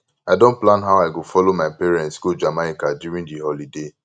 i don plan how i go follow my parents go jamaica during the holiday